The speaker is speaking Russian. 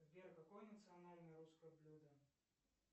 сбер какое национальное русское блюдо